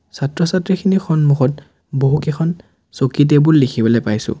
ছাত্ৰ-ছাত্ৰীখিনিৰ সন্মুখত বহু কেইখন চকী টেবুল দেখিবলৈ পাইছোঁ।